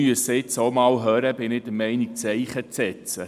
Meines Erachtens müssen wir nun auch einmal aufhören, Zeichen zu setzen.